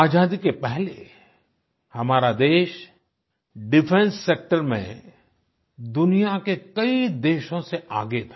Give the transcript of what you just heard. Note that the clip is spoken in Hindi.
आज़ादी के पहले हमारा देश डिफेंस सेक्टर में दुनिया के कई देशों से आगे था